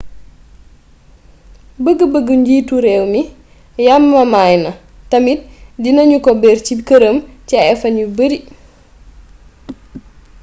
bëgg bëggu njiitu réew mi yamamaay na tamit dina ñu ko bér ci këram ci ay fan yu beeri